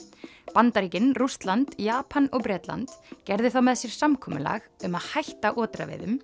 Bandaríkin Rússland Japan og Bretland gerðu þá með sér samkomulag um að hætta